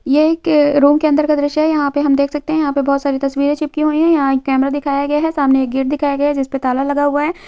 ये एक रूम के अंदर का दृश्य है यहाँ पे हम देख सकते है यहाँ पे बहुत सारी तस्वीरें चिपकी हुई है यहाँ एक कैमरा दिखाया गया है सामने एक गेट दिखाया गया है जिसपे ताला लगा हुआ है।